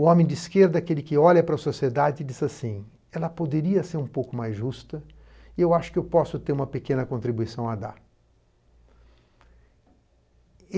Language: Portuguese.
O homem de esquerda, aquele que olha para a sociedade e diz assim, ela poderia ser um pouco mais justa e eu acho que eu posso ter uma pequena contribuição a dar.